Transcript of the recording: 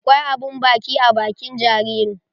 Akwai abun baki a bakin jaririn.